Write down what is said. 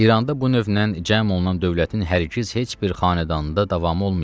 İranda bu növlə cəm olunan dövlətin hərgiz heç bir xanədanında davamı olmayıbdır.